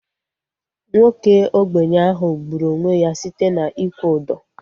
Nwoke ogbenye ahu gburu onwe ya site na ịkwụ ụdọ